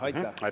Aitäh!